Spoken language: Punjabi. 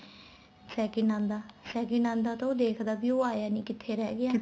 second ਆਂਦਾ second ਆਂਦਾ ਤਾਂ ਉਹ ਦੇਖਦਾ ਉਹ ਆਇਆ ਸੀ ਕਿੱਥੇ ਰਹਿ ਗਿਆ